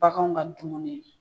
Baganw ka dumuni